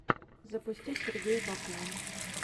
запусти сергея попова